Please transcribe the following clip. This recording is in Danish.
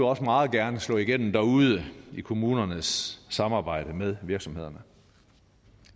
også meget gerne slå igennem derude i kommunernes samarbejde med virksomhederne